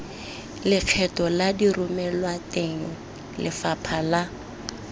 lekgetho la diromelwateng lefapha la